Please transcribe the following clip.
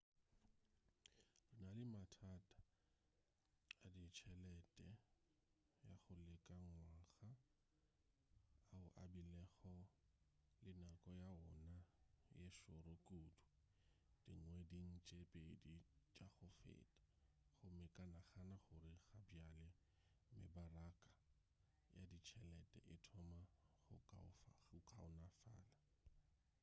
re na le mathata a ditšhelete ya go leka ngwaga ao a bilego le nako ya wona ye šoro kudu dingweding tše pedi tša go feta gomme ke nagana gore gabjale mebaraka ya ditšhelete e thoma go kaonafala